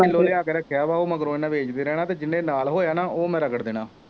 ਪਿੰਡੋਂ ਲਿਆ ਕੇ ਰੱਖਿਆ ਵਾ ਉਹ ਮਗਰੋਂ ਇਹਨੇ ਵੇਚ ਵੇ ਦੇਣਾ ਅਤੇ ਜਿਹਨੇ ਨਾਲ ਹੋਇਆ ਨਾ ਉਹ ਮੈਂ ਰਗੜ ਦੇਣਾ